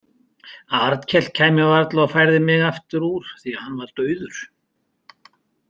Arnkell kæmi varla og færði mig aftur úr því hann var dauður.